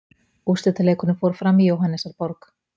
Úrslitaleikurinn fór fram í Jóhannesarborg.